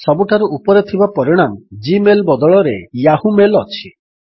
ସବୁଠାରୁ ଉପରେ ଥିବା ପରିଣାମ ଜି ମେଲ୍ ବଦଳରେ ୟାହୂ ମେଲ୍ ଅଛି